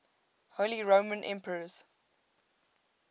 holy roman emperors